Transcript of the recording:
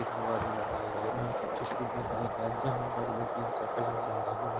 दरवाजे लगाए गए है जहाँ पर बिल्डिंग का कलर लाल ]